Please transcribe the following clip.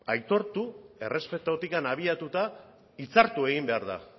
aitortu errespetutik abiatuta hitzartu egin behar da